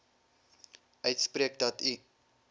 uitspreek dat u